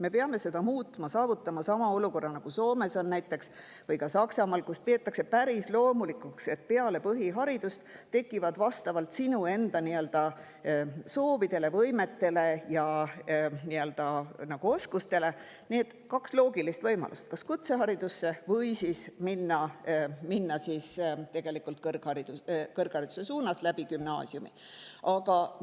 Me peame seda muutma, saavutama sama olukorra, nagu on Soomes või ka Saksamaal, kus peetakse päris loomulikuks seda, et peale põhiharidust on vastavalt sinu enda soovidele, võimetele ja oskustele kaks loogilist võimalust: kas minna kutse või siis kõrghariduse suunas gümnaasiumi kaudu.